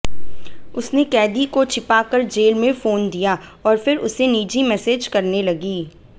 उसने कैदी को छिपाकर जेल में फोन दिया और फिर उसे निजी मैसेज करने लगी